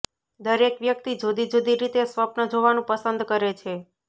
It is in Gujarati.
દરેક વ્યક્તિ જુદી જુદી રીતે સ્વપ્ન જોવાનું પસંદ કરે છે